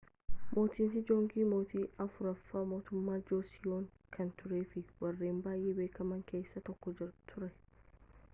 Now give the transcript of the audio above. mootin seejoongii mootii afuraffaa mootummaa joosiyoon kan turee fi warreen baayye beekaman keessaas tokko ture